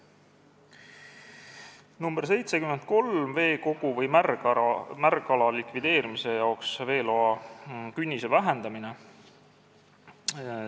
Muudatusettepanek nr 73, veekogu või märgala likvideerimise jaoks veeloa künnise vähendamise.